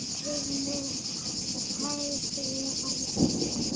litið með hægri hendi.